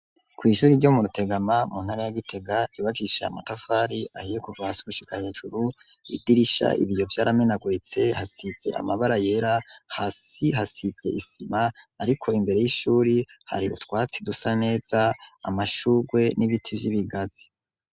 Kw' ishuri ryo mu rutegama mu ntara ya Gitega ryubakishije amatafari ahiye kuva hasi gushika hejuru idirisha ibiyo vy'aramenaguritse hasize amabara yera hasi hasize isima ariko imbere y'ishuri hari utwatsi dusa neza amashugwe n'ibiti vy'ibigazi.